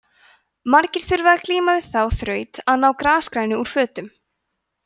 margir þurfa að glíma við þá þraut að ná grasgrænu úr fötum